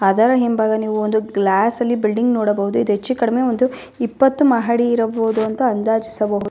ಅದರ ಹಿಂಭಾಗ ಒಂದು ದೊಡ್ಡ ಬಿಲ್ಡಿಂಗ ನ್ನ ನೋಡಬಹುದು.